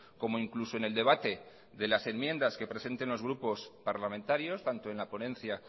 como incluso en el debate de las enmiendas que presenten los grupos parlamentarios tanto en la ponencia